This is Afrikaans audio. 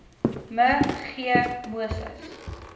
me g moses